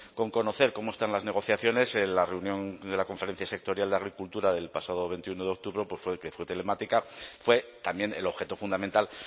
con conocer cómo están las negociaciones en la reunión de la conferencia sectorial de agricultura del pasado veintiuno de octubre que fue telemática fue también el objeto fundamental